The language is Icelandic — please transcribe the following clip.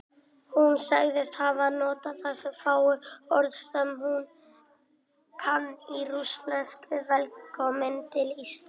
Hún sagðist hafa notað þessi fáu orð sem hún kann í rússnesku: Velkominn til Íslands.